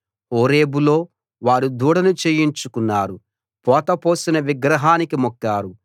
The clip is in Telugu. హోరేబులో వారు దూడను చేయించుకున్నారు పోత పోసిన విగ్రహానికి మొక్కారు